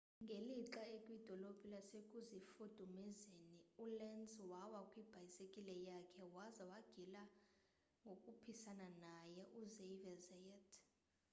ngelixa ekwidolo lasekuzifudumezeni ulenz wawa kwibhayisikile yakhe waza wagilwa ngkhuphisana naye uxavier zayat